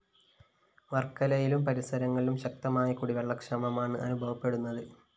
വര്‍ക്കലയിലും പരിസരങ്ങളിലും ശക്തമായ കുടിവെള്ളക്ഷാമമാണ് അനുഭവപ്പെടുന്നത്